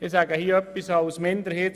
Sprecher der SiKMinderheit.